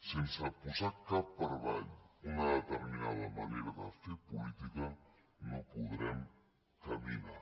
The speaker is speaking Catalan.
sense posar cap per avall una determinada manera de fer política no podrem caminar